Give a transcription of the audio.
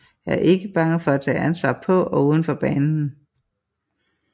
Er ikke bange for at tage ansvar på og udenfor banen